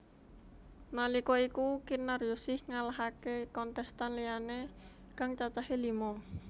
Nalika iku Kinaryosih ngalahaké kontestan liyané kang cacahé lima